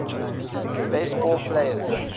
base ball players